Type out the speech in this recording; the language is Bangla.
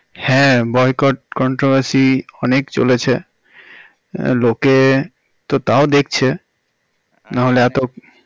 হ্যাঁ boycott controversy অনেক চলেছে লোকে তো তাও দেখছে না হলে এত